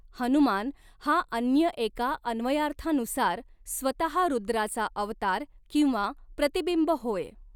हनुमान हा अन्य एका अन्वयार्थानुसार स्वतः रूद्राचा अवतार किंवा प्रतिबिंब होय.